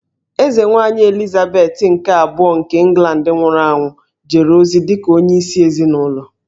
Eze Nwanyị Elizabeth nke Abụọ nke England nwụrụ anwụ jere ozi dịka onye isi ezịnụlọ